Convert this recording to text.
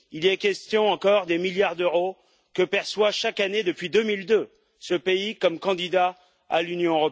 Il y est question encore des milliards d'euros que perçoit chaque année, depuis 2002, ce pays comme candidat à l'Union.